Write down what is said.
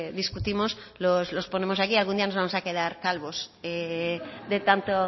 discutimos los ponemos aquí algún día nos vamos a quedar calvos de tanto